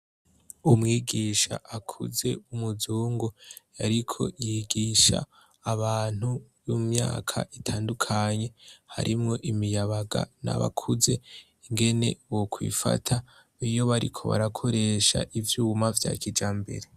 Umwigisha akuze umuzongo yariko yigisha abantu y'umyaka itandukanye harimwo imiyabaga ni abakuze ingene wokwifata iyo bariko barakoresha ivyuma vya kija mbere.